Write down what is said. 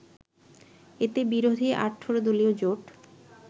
এতে বিরোধী ১৮ দলীয় জোট